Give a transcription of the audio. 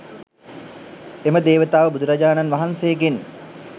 එම දේවතාව බුදුරජාණන් වහන්සේගෙන්